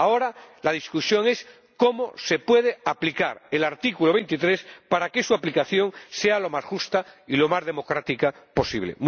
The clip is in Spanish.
Ahora la discusión es cómo se puede aplicar el artículo 23 para que su aplicación sea lo más justa y lo más democrática posible.